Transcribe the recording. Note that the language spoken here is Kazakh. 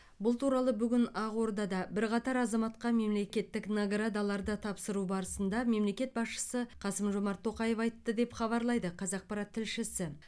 бұл туралы бүгін ақордада бірқатар азаматқа мемлекеттік наградаларды тапсыру барысында мемлекет басшысы қасым жомарт тоқаев айтты деп хабарлайды қазақпарат тілшісі